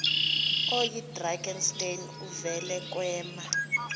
oyidrakenstein uvele kwema